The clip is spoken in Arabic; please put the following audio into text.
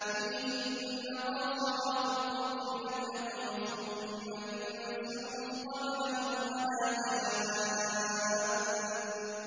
فِيهِنَّ قَاصِرَاتُ الطَّرْفِ لَمْ يَطْمِثْهُنَّ إِنسٌ قَبْلَهُمْ وَلَا جَانٌّ